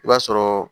I b'a sɔrɔ